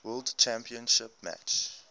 world championship match